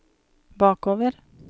bakover